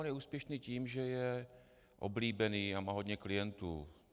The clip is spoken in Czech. On je úspěšný tím, že je oblíbený a má hodně klientů.